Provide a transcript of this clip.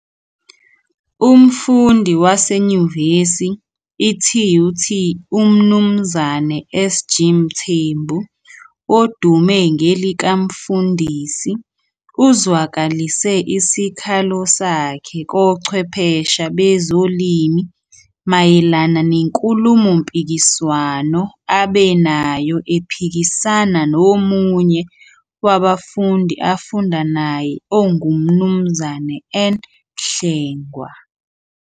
Umfundi wase nyuvesi i-TUT uMnumzane SG Mthembu odume ngelikaMfundisi uzwakalise isikhalo sakhe kochwephesha bezolimi mayelana nenkulumo mpikiswano abe nayo ephikisana nomunye wabafundi afunda naye onguMnumzane N Hlengwa.